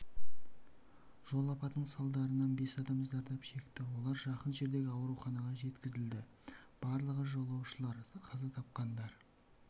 жол апатының салдарынан бес адам зардап шекті олар жақын жердегі ауруханаға жеткізілді барлығы жолаушылар қаза тапқандар